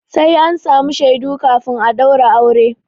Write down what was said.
Sai an samu shaidu kafin a ɗaura aure.